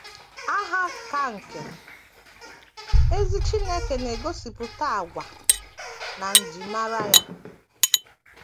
Aha aka nke ezi Chineke na - egosipụta àgwà na njimara ya.